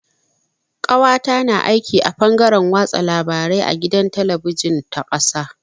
Ƙawata na aiki a fangaren watsa labarai a gidan talabijin ta ƙasa.